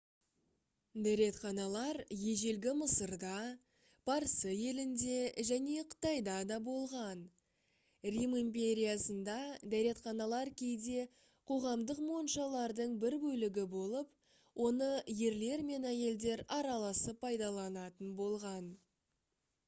дәретханалар ежелгі мысырда парсы елінде және қытайда да болған рим империясында дәретханалар кейде қоғамдық моншалардың бір бөлігі болып оны ерлер мен әйелдер араласып пайдаланатын болған